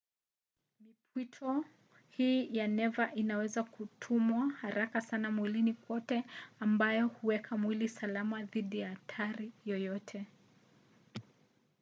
mipwito hii ya neva inaweza kutumwa haraka sana mwilini kote ambayo huweka mwili salama dhidi ya hatari yoyote